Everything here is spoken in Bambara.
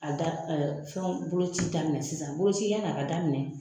A da ɛɛ fɛnw boloci daminɛ sisan. Boloci ya ni a ka daminɛ